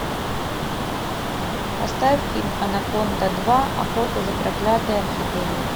поставь фильм анаконда два охота за проклятой орхидеей